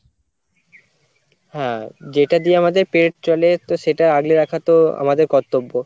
হ্যাঁ যেটা দিয়ে আমাদের পেট চলে তো সেটা আগলে রাখা তো আমাদের কর্তব্য